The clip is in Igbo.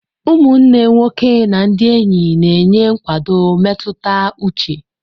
Ụmụnne nwoke na ndị enyi na-enye nkwado mmetụta uche.